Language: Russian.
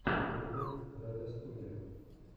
влог райдостудия